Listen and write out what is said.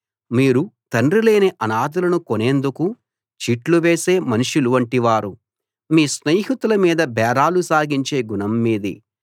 మీరు తండ్రిలేని అనాథలను కొనేందుకు చీట్లు వేసే మనుషుల వంటివారు మీ స్నేహితుల మీద బేరాలు సాగించే గుణం మీది